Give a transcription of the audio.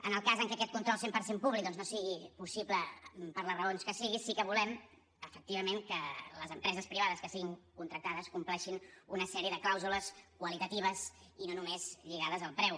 en el cas en que aquest control cent per cent públic doncs no sigui possible per les raons que sigui sí que volem efectivament que les empreses privades que siguin contractades compleixin una sèrie de clàusules qualitatives i no només lligades al preu